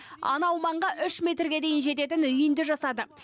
анау маңға үш метрге дейін жететін үйінді жасады